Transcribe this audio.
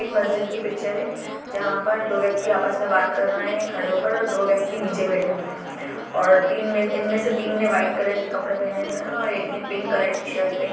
एक मस्जिद की पिक्चर है जहा पर दो व्यक्ति आपस मे बात कर रहे है खड़े होकर और दो व्यक्ति निचे बेठ हुये है और तीन इनमेसे तीन ने व्हाइट कलर के कपड़े पहने हुए है और एक ने पिंक कलर की शर्ट पहनी--